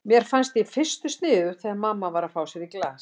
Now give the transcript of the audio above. Mér fannst í fyrstu sniðugt þegar mamma var að fá sér í glas.